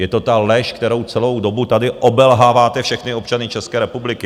Je to ta lež, kterou celou dobu tady obelháváte všechny občany České republiky.